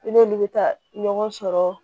I n'olu bɛ taa ɲɔgɔn sɔrɔ